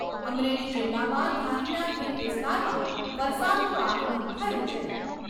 અમરેલી જિલ્લામાં ધારીના ગીર વિસ્તારમાં વરસાદનું આગમન થયું છે.